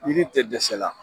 Yiri te dɛsɛ la.